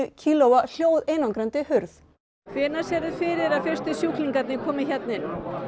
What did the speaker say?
kílóa hljóðeinangrandi hurð hvenær sérðu fyrir þér að fyrstu sjúklingarnir komi hérna inn